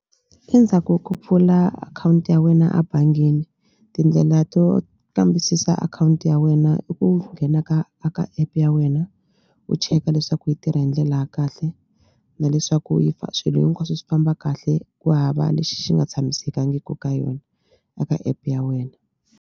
Endzhaku ko pfula akhawunti ya wena abangini tindlela to kambisisa akhawunti ya wena i ku nghena ka a ka app ya wena u cheka leswaku yi tirha hi ndlela ya kahle na leswaku swilo hinkwaswo swi famba kahle ku hava lexi xi nga tshamisekangiku ka yona a ka app ya wena.